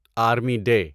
army day